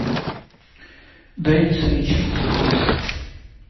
дениз ричардс